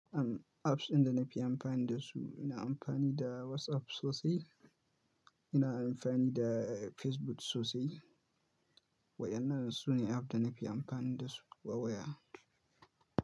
Am, apps inda na fi amfani da su, ina amfani da WhatsApp sosai, ina amfani da Facebook sosai. Waƴannan su ne app dana fi amfani da su wa waya.